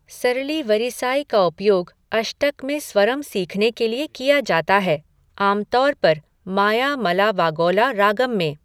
सरली वरिसाई का उपयोग अष्टक में स्वरम सीखने के लिए किया जाता है, आमतौर पर मायामलावागौला रागम में।